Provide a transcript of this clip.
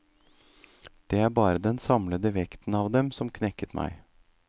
Det var bare den samlede vekten av dem som knekket meg.